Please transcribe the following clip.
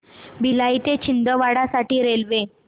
भिलाई ते छिंदवाडा साठी रेल्वे